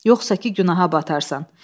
Yoxsa ki günaha batarsan.